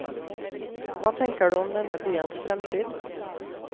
Hva tenker du om denne byens fremtid?